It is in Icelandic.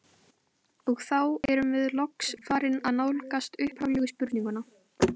Þremur barnanna gekkst hann við, þeirra á meðal er alnafni hans.